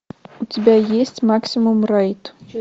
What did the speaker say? у тебя есть максимум райд